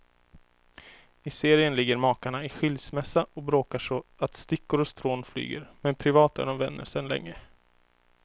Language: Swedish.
I serien ligger makarna i skilsmässa och bråkar så att stickor och strån flyger, men privat är de vänner sedan länge.